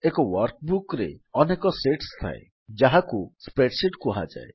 ଏକ ୱର୍କବୁକ୍ ରେ ଅନେକ ଶିଟ୍ସ ଥାଏ ଯାହାକୁ ସ୍ପ୍ରେଡଶିଟ୍ କୁହାଯାଏ